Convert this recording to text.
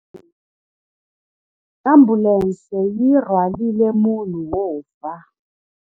Ambulense yi rhwarile munhu wo fa.